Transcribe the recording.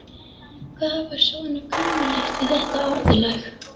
Hvað var svona kunnuglegt við þetta orðalag?